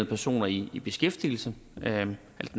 personer i i beskæftigelse al den